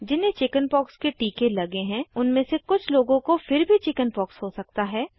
जिन्हें चिकिन्पॉक्स के टीके लगे हैं उनमे से कुछ लोगों को फिर भी चिकिन्पॉक्स हो सकता है